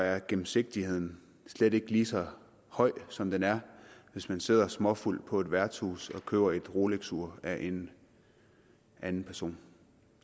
er gennemsigtigheden slet ikke lige så høj som den er hvis man sidder småfuld på et værtshus og køber et rolexur af en anden person